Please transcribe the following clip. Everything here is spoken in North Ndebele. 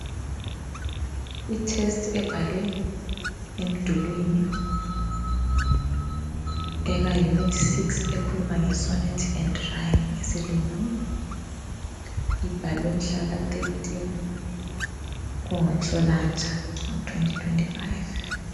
I test ebhalwe emdulwini eka unit 6 ekhuluma nge "Sonnet and Rhyme" ngesilungu ibhalwe mhlaka 13 kunguNhlolanja ngo 2025.